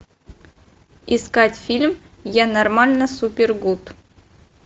искать фильм я нормально супер гуд